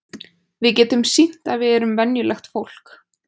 Við getum sýnt að við erum venjulegt fólk.